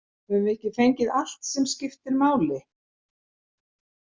Höfum við ekki fengið allt sem skiptir máli?